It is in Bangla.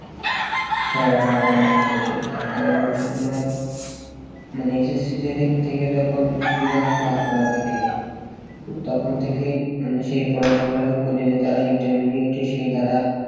হ্যাঁ বলাই যাই সেইটা কারণ হচ্ছে তোমার মানে এই যে seat এর দিক থেকে যখন বিভাগ ভাগ করা থাকে তখন থেকে মানুষের পড়াশোনা করেছে তারা intermedia তে সুবিধা